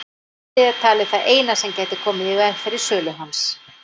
Meiðsli er talið það eina sem gæti komið í veg fyrir sölu hans.